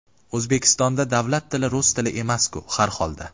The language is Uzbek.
O‘zbekistonda davlat tili rus tili emasku, har holda.